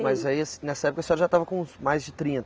Mas aí as nessa época a senhora já estava com uns mais de trinta